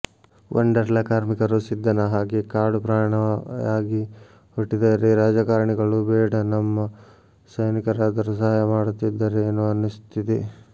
wonder ಲಾ ಕಾರ್ಮಿಕರು ಸಿದ್ದನ ಹಾಗೆ ಕಾಡು ಪ್ರಾಣಯಾಗಿ ಹುಟ್ಟಿದ್ದರೆ ರಾಜಕಾರಣಿಗಳು ಬೇಡ ನಮ್ಮ ಸೈನಿಕರಾದರು ಸಹಾಯ ಮಾಡುತ್ತಿದ್ದರೆನೋ ಅನ್ನುಸ್ತಿದೆ